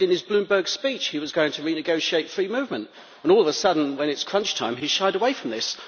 He said in his Bloomberg speech he was going to renegotiate free movement. All of a sudden, when it is crunch time, he shied away from this.